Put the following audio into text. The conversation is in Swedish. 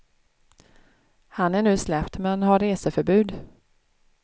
Han är nu släppt men har reseförbud.